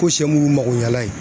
Ko sɛ mun y'u magoɲɛlan ye